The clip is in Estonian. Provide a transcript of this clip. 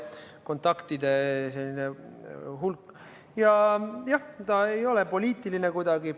Jah, ta ei ole kuidagi poliitiline.